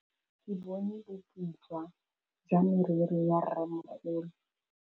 Ke bone boputswa jwa meriri ya rrêmogolo.